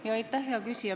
Aitäh, hea küsija!